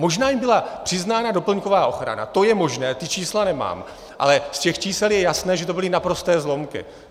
Možná jim byla přiznána doplňková ochrana, to je možné, ta čísla nemám, ale z těch čísel je jasné, že to byly naprosté zlomky.